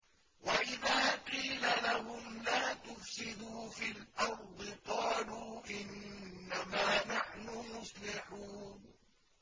وَإِذَا قِيلَ لَهُمْ لَا تُفْسِدُوا فِي الْأَرْضِ قَالُوا إِنَّمَا نَحْنُ مُصْلِحُونَ